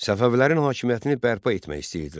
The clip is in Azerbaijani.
Səfəvilərin hakimiyyətini bərpa etmək istəyirdilər.